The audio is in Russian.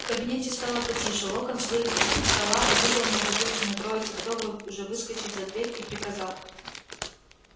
в кабинете стало потише локонс вылез из-под стола увидел неразлучную троицу готовую уже выскочить за дверь и приказал